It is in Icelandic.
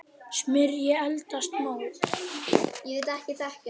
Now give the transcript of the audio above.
Smyrjið eldfast mót.